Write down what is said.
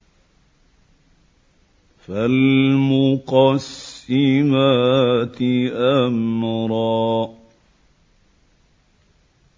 فَالْمُقَسِّمَاتِ أَمْرًا